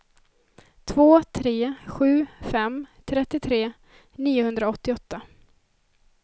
två tre sju fem trettiotre niohundraåttioåtta